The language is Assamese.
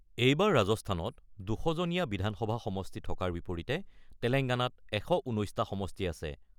এইবাৰ ৰাজস্থানত ২০০ জনীয়া বিধানসভা সমষ্টি থকাৰ বিপৰীতে তেলেংগানাত ১১৯টা সমষ্টি আছে।